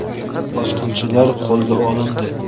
Bosqinchilar qo‘lga olindi.